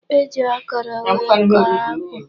E ji okoro wee kọọ akpụ.